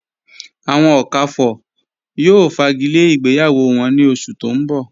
Awọn Okafors yóò fágílẹ̀ ìgbéyàwó wọn ní ọ̀ṣù tó n bọ̀.